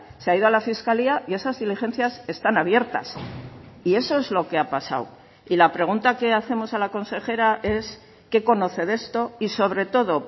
se ha ido a la fiscalía y esas diligencias están abiertas y eso es lo que ha pasado y la pregunta que hacemos a la consejera es qué conoce de esto y sobre todo